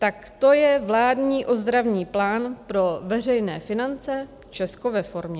Tak to je vládní ozdravný plán pro veřejné finance Česko ve formě.